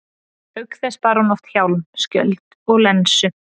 Auk þess bar hún oft hjálm, skjöld og lensu.